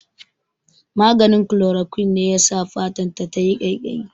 Maganin Chloroquine ne yasa fatan ta yayi ƙaiƙayi